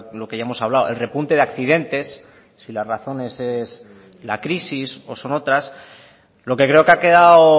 lo que ya hemos hablado el repunte de accidentes si las razones es la crisis o son otras lo que creo que ha quedado